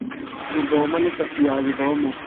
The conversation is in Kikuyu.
Gũthoma nĩ cabi ya gĩthomo.